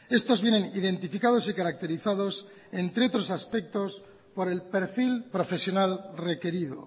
estos vienen identificados y caracterizados entre otros aspectos por el perfil profesional requerido